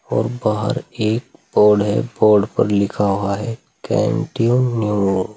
और बाहर एक बोर्ड है बोर्ड पर लिखा हुआ है कंटिन्यू --